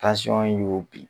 y'o bin